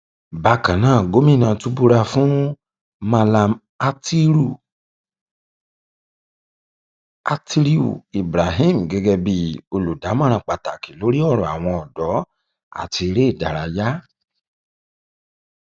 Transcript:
bákan náà gomina tún búra fún um mallam atttiriu ibrahim gẹgẹ bíi olùdámọràn pàtàkì lórí ọrọ àwọn ọdọ àti eré um ìdárayá